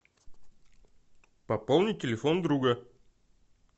пополнить телефон друга